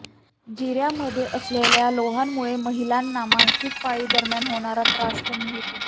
जिऱ्यांमध्ये असलेल्या लोहामुळे महिलांना मासिकपाळी दरम्यान होणारा त्रास कमी होतो